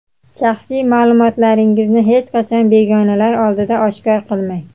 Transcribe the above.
Shaxsiy maʼlumotlaringizni hech qachon begonalar oldida oshkor qilmang.